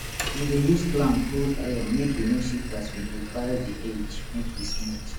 we dey use clamp hold iron make e no shift as we dey file di edge make e smooth